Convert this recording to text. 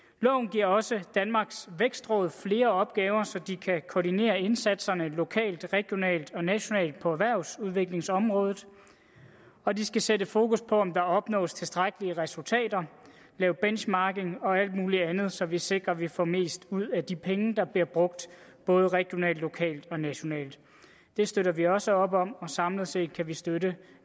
giver også danmarks vækstråd flere opgaver så de kan koordinere indsatserne lokalt regionalt og nationalt på erhvervsudviklingsområdet og de skal sætte fokus på om der opnås tilstrækkelige resultater lave benchmarking og alt muligt andet så vi sikrer at vi får mest muligt ud af de penge der bliver brugt både regionalt lokalt og nationalt det støtter vi også op om og samlet set kan vi støtte